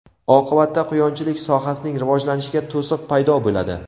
Oqibatda quyonchilik sohasining rivojlanishiga to‘siq paydo bo‘ladi.